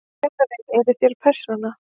Kennari: Eruð þér persóna?